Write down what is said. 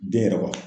Den yɛrɛ b'a fɔ